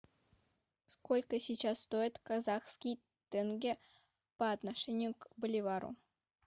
сколько сейчас стоит казахский тенге по отношению к боливару